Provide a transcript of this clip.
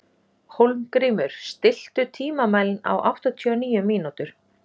Hólmgrímur, stilltu tímamælinn á áttatíu og níu mínútur.